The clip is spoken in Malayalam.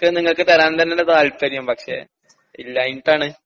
ക്ക് നിങ്ങക്ക് തരാൻ തന്നാണ് താല്പര്യം പക്ഷേ ഇല്ലായിട്ടാണ്.